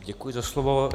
Děkuji za slovo.